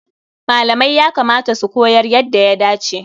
Malamai ya kamata su koyar yadda ya dace.